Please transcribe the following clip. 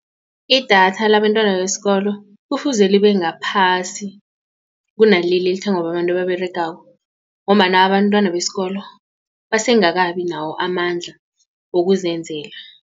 Idatha labentwana besikolo kufuze libe ngaphasi kunaleli elithengwa babantu ababeregako ngombana abantwana besikolo basengakabi nawo amandla wokuzenzela.